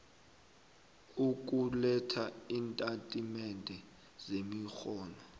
ukuletha iintatimende zemirholo